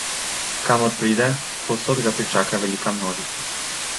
Kamor pride, povsod ga pričaka velika množica.